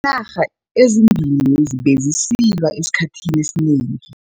arha ezimbili lezi bezisilwa esikhathini esinengi.